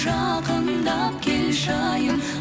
жақындап келші айым